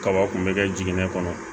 Kaba kun bɛ kɛ jiginnen kɔnɔ